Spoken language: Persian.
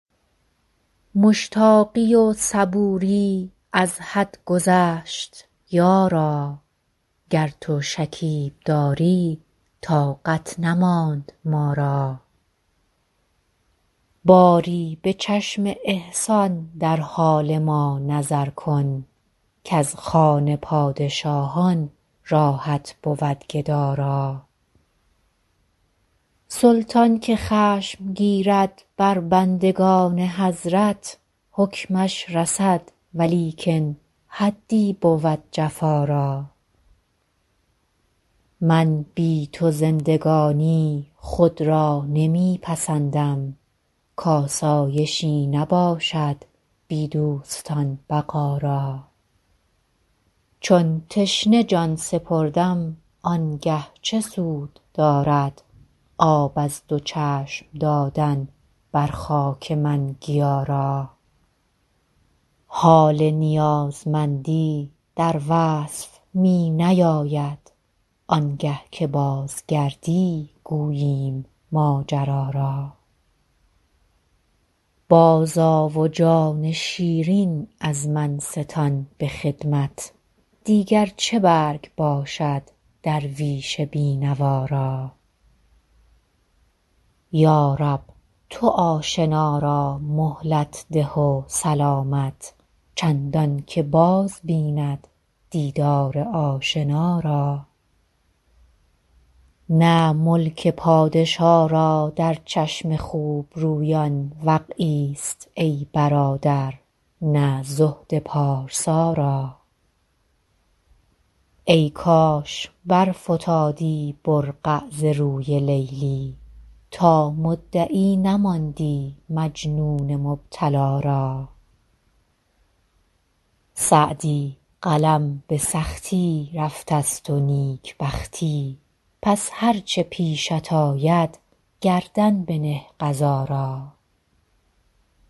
مشتاقی و صبوری از حد گذشت یارا گر تو شکیب داری طاقت نماند ما را باری به چشم احسان در حال ما نظر کن کز خوان پادشاهان راحت بود گدا را سلطان که خشم گیرد بر بندگان حضرت حکمش رسد ولیکن حدی بود جفا را من بی تو زندگانی خود را نمی پسندم کآسایشی نباشد بی دوستان بقا را چون تشنه جان سپردم آن گه چه سود دارد آب از دو چشم دادن بر خاک من گیا را حال نیازمندی در وصف می نیاید آن گه که بازگردی گوییم ماجرا را بازآ و جان شیرین از من ستان به خدمت دیگر چه برگ باشد درویش بی نوا را یا رب تو آشنا را مهلت ده و سلامت چندان که باز بیند دیدار آشنا را نه ملک پادشا را در چشم خوب رویان وقعی ست ای برادر نه زهد پارسا را ای کاش برفتادی برقع ز روی لیلی تا مدعی نماندی مجنون مبتلا را سعدی قلم به سختی رفته ست و نیک بختی پس هر چه پیشت آید گردن بنه قضا را